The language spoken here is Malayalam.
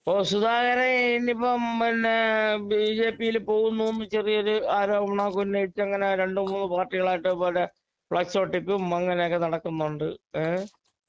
ഓ സുധാകരൻ ഇനീപ്പോ പിന്നെ ബിജെപി യില് പോകുന്നൂന്ന് ചെറിയൊരു ആരോപണം ഒക്കെ ഉന്നയിച്ച് അങ്ങനെ രണ്ടുമൂന്ന് പാർട്ടികളായിട്ട് പല ഫ്ലക്സ് ഒട്ടിപ്പും അങ്ങനെ ഒക്കെയായിട്ട് നടക്കുന്നുണ്ട് ഏ